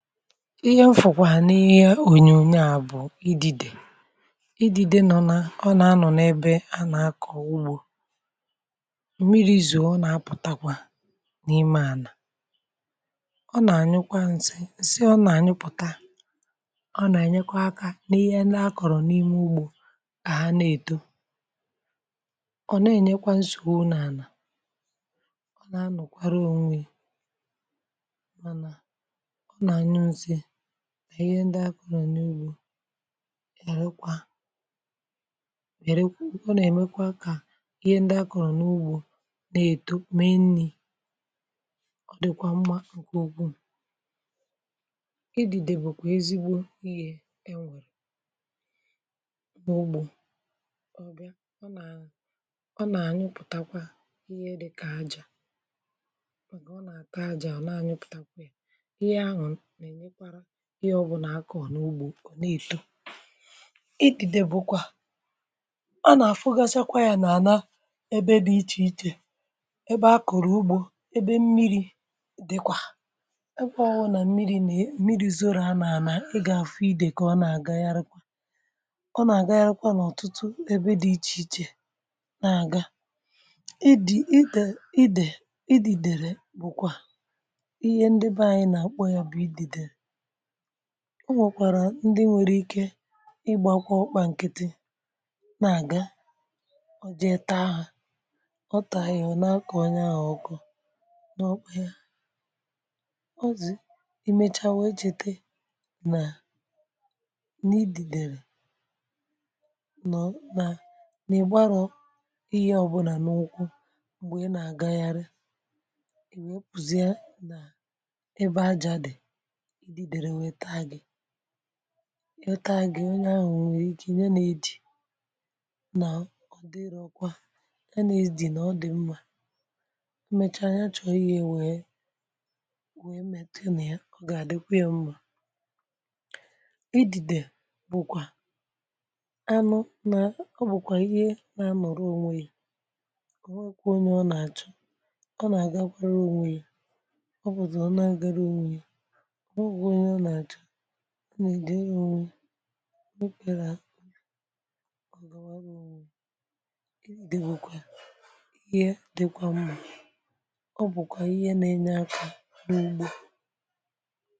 ihe m fụ̀kwà n’ihe ònyonyo à bụ̀ idide idide nọ̀ nà ọ nà-anọ̀ n’ebe anà akọ̀ ugbȯ mmiri zọọ ọ nà-apụ̀takwa n’ime anà ọ nà-ànyụkwa nsị nsị ọ nà-ànyụpụ̀ta ọ nà-ènyekwa akȧ n’ihe na-akọ̀rọ̀ n’ime ugbȯ kà ha na-èto ọ nà-ènyekwa nsọgbụ n’anà ọ nà-anọ̀kwara ȯnwė ya maṅa ọṅa anyụ nsi ṅa ihe ndi akọrọ n’ugbȯ ya rekwa yarakwa ọ na-emekwa ka ihe ndi akọrọ n’ugbȯ na-eto mee nni ọ dịkwa mmȧ ǹkè ụkwụ ịdị̇dė bụ̀kwa ezigbo ihe e nwèrè n’ugbȯ ọbịa ọ nà ọ ṅa anyụpụtakwa ihe dịkà aja maka ọ na ata aja ọ na anyụpụtakwa ya ihe ahụ na enyekwara ihe ọbụla akọ̀ n’ugbò ọ na-èto, idìdè bụ̀kwà anà-àfụgachakwa yà nà-ànà ebe dị̀ ichè ichè ebe a kọ̀rọ̀ ugbò ebe mmiri̇ dịkwà ebe ọhụụ nà mmiri̇ na mmiri̇ zora a nà-ànà ị gà-àfụ idè kà ọ na-àgagharekwa ọ na-àgagharekwa n’ọ̀tụtụ ebe dị̀ ichè ichè na-àga idì idè idè idì dèrè bụ̀kwà ihe ndị be anyị̇ nà-àkpọ ya bụ̀ idè de o nwèkwàrà ndị nwẹ̀rẹ̀ ike ịgbakwa ọkpà nkịtị na-aga o jee tàa ha ọ tàa ya ọ na-akọ̀ onye ahụ̀ ọkọ n’ọkpa ya ọzị̀ ị mechȧ wee cheeta nà n’idìdèrè nọ̀ nà n’ìgbarọ̇ ihe ọbụlà n’ụkwụ m̀gbè ị nà-agaghari e wepuzia nà ebe aja dị̀ ididere wee taa gị̇ ọ taa gi onye ahụ̀ nwere ike nya nà-edi nà ọdịrọkwa nya nà-edi nà ọ dị̀ mmȧ emèchaa ya chọ̀ọ ihe wee wee metụ na ya ọ gà-àdịkwa yȧ mmȧ idìdè bụ̀kwà anụ nà ọ bụ̀kwà ihe nà-anọ̀rọ ònwè ya kà o nwenkwa ọnye ọ nà-achọ̀ ọ nà-àgakwara ònwè ya ọ pụ̀tụ̀ ọ̀na agara ònwè ye ọ nwekwa ọnye ọ na achọ ọ nà-èdere ònwe ọ̀gàwara ònwe ya ịde bụkwà ihe dị̀kwa mma ọ bụ̀kwà ihe nȧ-enye akȧ n’ugbọ.